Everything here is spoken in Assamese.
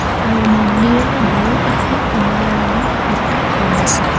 আৰু মন্দিৰৰ দুয়োকাষে কমলা ৰঙৰ দুটা ঘৰ আছে.